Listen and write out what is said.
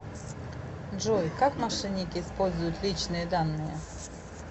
джой как мошенники используют личные данные